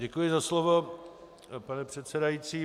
Děkuji za slovo, pane předsedající.